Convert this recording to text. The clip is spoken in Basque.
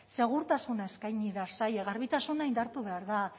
segurtasuna eskaini behar zaie zaila garbitasuna indartu behar da